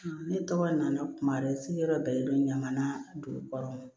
Ne tɔgɔ nana kuma se yɔrɔ bɛɛ na dugu kɔrɔ